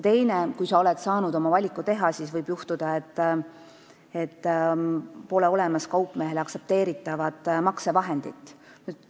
Teiseks, kui sa oled saanud oma valiku teha, siis võib juhtuda, et sul pole kaupmehe aktsepteeritavat maksevahendit.